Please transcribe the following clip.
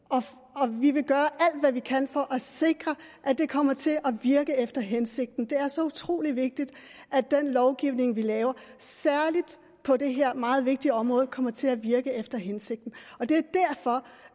og vi vil gøre alt hvad vi kan for at sikre at det kommer til at virke efter hensigten det er så utrolig vigtigt at den lovgivning vi laver særlig på det her meget vigtige område kommer til at virke efter hensigten